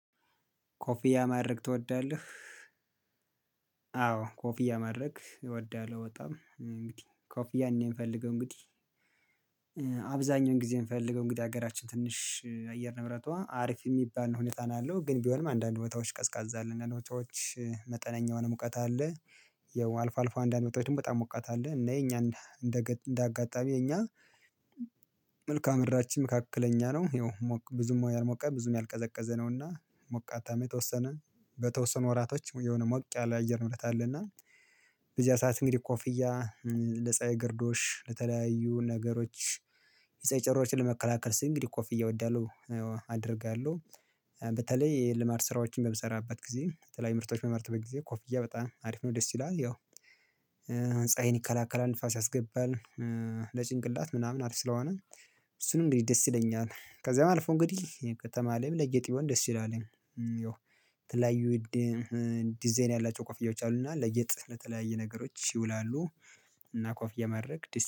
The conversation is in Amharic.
ኮፊያ ማድረግ ትወዳለህ? አዎ ኮፊያ ማድረግ እወዳለሁ በጣም እንግዲህ ኮፍያ ያኔ የምፈልገው እንግዲህ አብዛኛውን ጊዜ የምፈልገው እንግዲህ ሀገራችን ትንሽ አየር ንብረቷ አሪፍ የሚባል ነው ሁኔታን ያለው ግን ቢሆንም አንዳንድ ቦታዎች ቀዝቃዛ አለን ነው ቦታዎች መጠነኛ የሆነ ሙቀት አለ። ያው አልፎ አልፎ አንዳንድ ቦታወች ደግሞ መጠን በጣም ሙቀት አለ እና የኛ እንደ እንደ አጋጣሚ የኛ መልካም ምድራችን መካከለኛ ነው። ይሄው ብዙም ያልሞቀ ብዙም ያልቀዘቀዘ ነውና ሞቃታም ተወሰነ በተወሰኑ ወራቶች የሆነ ሞቅ ያለ አየር ንብረት አለና። በዚያ ሰዓት እንግዲህ ኮፍያ ለጻይ ግርዶሽ ለተለያዩ ነገሮች የፀሀይ ጨረሮችን ለመከላከል ስንት እንግዲህ ኮፍያ እወዳለሁ አደርጋለሁ። በተለይ የልማድ ስራዎችን በምሰራበት ጊዜ የተለያዩ ምርቶች በማመርትበት ጊዜ ኮፍያ በጣም አሪፍ ነው ደስ ይላል ያው ፀሀይን ይከላከላል ንፋስ ያስገባል። ለጭንቅላት ምናምን አሪፍ ስለሆነ እሱንም እንግዲህ ደስ ይለኛል ከዛም አልፈ እንግዲህ ከተማ ላይም ለጌጥ ቢሆን ደስ ይላል። ይው ተለያዩ ዲዛይን ያላቸው ኮፍያዎች አሉና ለጌጥ ለተለያየ ነገሮች ይውላሉ። እና ኮፍያ ማድረግ ደስ